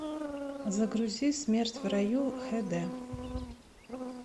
загрузи смерть в раю хд